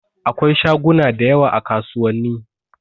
Akwai shaguna da yawa a kasuwanni.